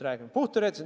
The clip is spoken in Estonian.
Puhtteoreetiliselt!